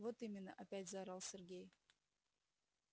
вот именно опять заорал сергей